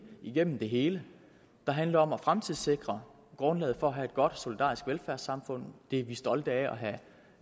igennem det hele der handler om at fremtidssikre grundlaget for at have et godt og solidarisk velfærdssamfund og det er vi stolte af at